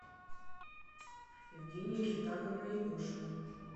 евгения китаговна егошина